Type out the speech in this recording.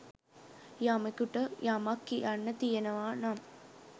යමකුට යමක් කියන්න තියෙනවා නම්